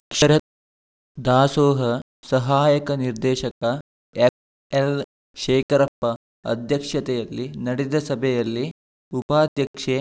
ಅಕ್ಷರ ದಾಸೋಹ ಸಹಾಯಕ ನಿರ್ದೇಶಕ ಎಫ್‌ಎಲ್‌ಶೇಖರಪ್ಪ ಅಧ್ಯಕ್ಷತೆಯಲ್ಲಿ ನಡೆದ ಸಭೆಯಲ್ಲಿ ಉಪಾಧ್ಯಕ್ಷೆ